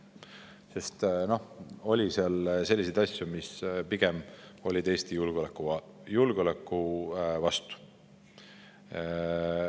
Seal oli selliseid asju, mis pigem olid Eesti julgeoleku vastu.